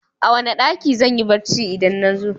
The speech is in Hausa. A wane ɗaki zanyi bacci idan nazo?